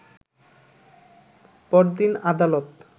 পরদিন আদালত